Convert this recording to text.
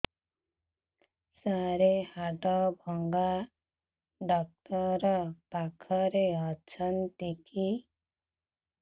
ସାର ହାଡଭଙ୍ଗା ଡକ୍ଟର ପାଖରେ ଅଛନ୍ତି କି